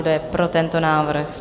Kdo je pro tento návrh?